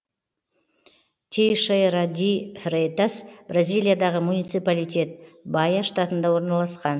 тейшейра ди фрейтас бразилиядағы муниципалитет баия штатында орналасқан